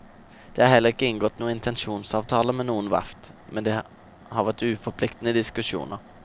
Det er heller ikke inngått noen intensjonsavtale med noe verft, men det har vært uforpliktende diskusjoner.